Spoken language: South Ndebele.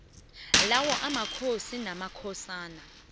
lawo amakhosi namakhosana